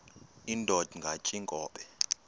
indod ingaty iinkobe